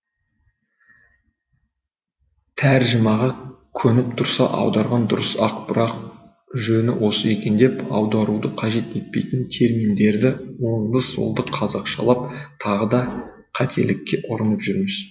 тәржімаға көніп тұрса аударған дұрыс ақ бірақ жөні осы екен деп аударуды қажет етпейтін терминдерді оңды солды қазақшалап тағы да қателікке ұрынып жүрміз